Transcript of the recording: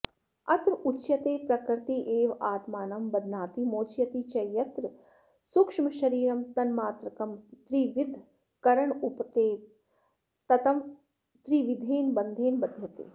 अत्रोच्यते प्रकृतिरेवात्मानं बध्नाति मोचयति च यत्र सूक्ष्मशरीरं तन्मात्रकं त्रिविधकरणोपेतं तत् त्रिविधेन बन्धेन बध्यते